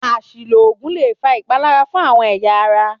Às̩ìlò ògùn lè fa ìpalára fún àwo̩n è̩yà ara